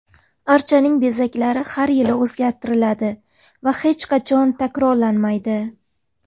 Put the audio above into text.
Archaning bezaklari har yili o‘zgartiriladi va hech qachon takrorlanmaydi.